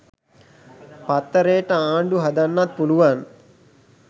පත්තරේට ආණ්ඩු හදන්නත් පුළුවන්